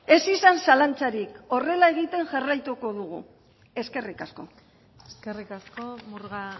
ez izan zalantzarik horrela egiten jarraituko dugu eskerrik asko eskerrik asko murga